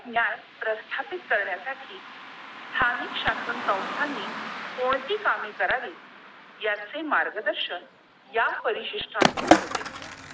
न्याय प्रस्थापित करण्या साठी स्थानिक शास्त्र संस्था नी कोणती कामे करावी? यांचे मार्गदर्शन या परिसिष्ठांतून होते!